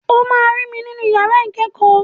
O máa rí mi nínú yàrá ìkẹ́kọ̀ọ́.